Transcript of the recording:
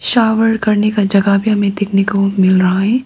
Shower करने का जगह भी हमें देखने को मिल रहा है।